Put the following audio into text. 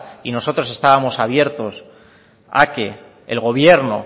y nosotros estábamos abiertos a que el gobierno